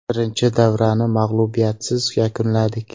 Birinchi davrani mag‘lubiyatsiz yakunladik.